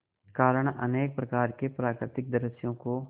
कारण अनेक प्रकार के प्राकृतिक दृश्यों को